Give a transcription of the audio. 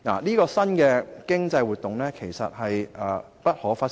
這項新的經濟活動是不可忽視的。